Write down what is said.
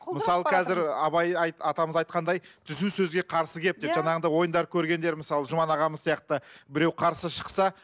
мысалы қазір абай атамыз айтқандай түзеу сөзге қарсы келіп жаңағыдай ойындар көргендер мысалы жұман ағамыз сияқты біреу қарсы шықса